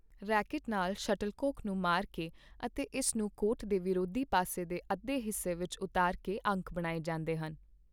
Racket ਨਾਲ shuttlecock ਨੂੰ ਮਾਰ ਕੇ ਅਤੇ ਇਸ ਨੂੰ ਕੋਰਟ ਦੇ ਵਿਰੋਧੀ ਪਾਸੇ ਦੇ ਅੱਧੇ ਹਿੱਸੇ ਵਿੱਚ ਉਤਾਰ ਕੇ ਅੰਕ ਬਣਾਏ ਜਾਂਦੇ ਹਨ।